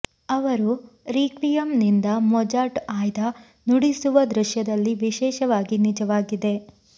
ಅವರು ರೀಕ್ವಿಯಂ ನಿಂದ ಮೊಜಾರ್ಟ್ ಆಯ್ದ ನುಡಿಸುವ ದೃಶ್ಯದಲ್ಲಿ ವಿಶೇಷವಾಗಿ ನಿಜವಾಗಿದೆ